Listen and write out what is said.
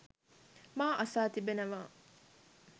මා අසා තිබෙනවා